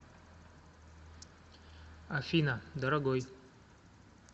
афина дорогой